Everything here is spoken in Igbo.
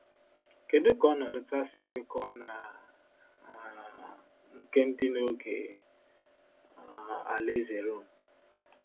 Kedu ka ọnọdụ taa si kwekọọ na um nke dị n’oge um alaeze Rom?